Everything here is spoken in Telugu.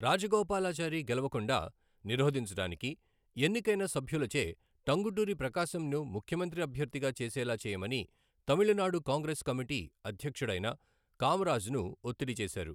రాజగోపాలాచారి గెలవకుండా నిరోధించడానికి, ఎన్నికైన సభ్యులచే టంగుటూరి ప్రకాశంను ముఖ్యమంత్రి అభ్యర్థిగా చేసేలా చేయమని తమిళనాడు కాంగ్రెస్ కమిటీ అధ్యక్షుడైన కామరాజ్ను ఒత్తిడి చేశారు.